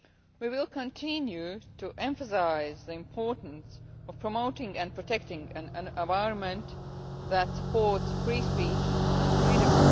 We will continue to emphasise the importance of promoting and protecting an environment that supports free speech and media freedom.